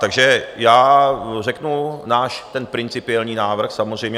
Takže já řeknu ten náš principiální návrh, samozřejmě.